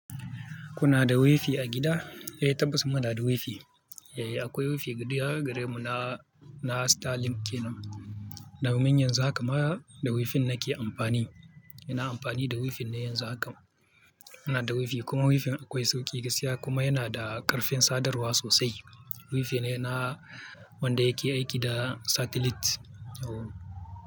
Kuna da wifi a gida? Eh tabbas muna da wifi. Eh akwai wifi gida gare mu na, na Starlink kenan. Domin yanzu haka ma da wifin nake amfani. Ina amfani da wifi ne yanzu haka. Muna da wifi kuma wifin akwai sauƙi gaskiya kuma yana da ƙarfin sadarwa sosai. Wifi ne na wanda yake aiki da satellite.